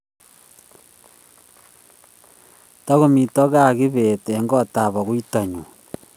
Tokomito kaa kibet eng koot ab aguitonyi